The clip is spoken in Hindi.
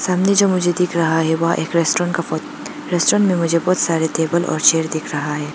अंदर जो मुझे दिख रहा है वह एक रेस्टोरेंट का फोटो रेस्टोरेंट में मुझे बहुत सारे टेबल और चेयर दिख रहा है।